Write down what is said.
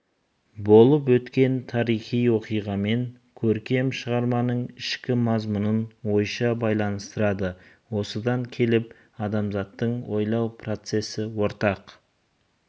болып өткен тарихи оқиғамен көркем шығарманың ішкі мазмұнын ойша байланыстырады осыдан келіп адамзаттың ойлау процесі ортақ